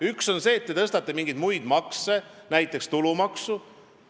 Üks on see, et te tõstate mingeid muid makse, näiteks tulumaksu.